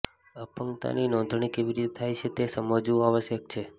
અપંગતાની નોંધણી કેવી રીતે થાય છે તે સમજવું આવશ્યક છે